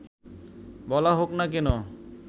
বলা হোক না কেন